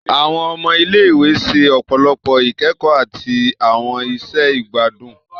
Awọn ọmọ ile-iwe ṣe ọpọlọpọ ikẹkọ ati awọn iṣẹ igbadun.